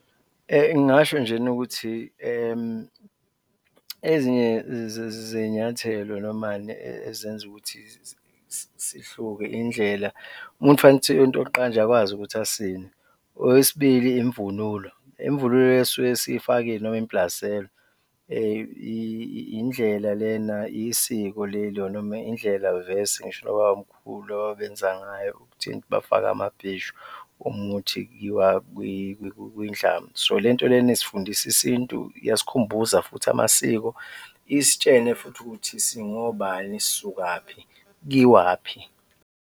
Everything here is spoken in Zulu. Ngingasho njena ukuthi ezinye zey'nyathelo normally ezenza ukuthi sihluke indlela, umuntu kufanele ukuthi into yokuqala nje akwazi ukuthi asine. Okwesibili, imvunulo, imvunulo esisuke siyifakile noma imblaselwa indlela lena, isiko leli or noma indlela vese ngisho nobabamkhulu ababenza ngayo, ukuthi bafake amabheshu uma kuwukuthi kiyiwa kwindlamu. So le nto lena isifundise isintu, yasikhumbuza futhi amasiko isitshene futhi ukuthi singobani, sisukaphi, kuyiwaphi?